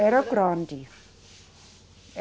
Era grande.